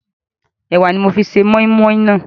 Ẹ̀wà ni mo fi se moi moi naa